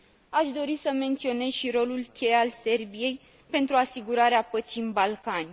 Aș dori să menționez și rolul cheie al Serbiei pentru asigurarea păcii în Balcani.